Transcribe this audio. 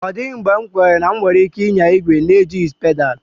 Ọ dịghị mgbe m kweere na m nwere ike ịnya igwe n'ejighị pedal.